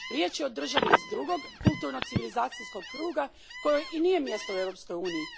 Riječ je o državi iz drugog kulturno civilizacijskog kruga kojoj i nije mjesto u Europskoj uniji.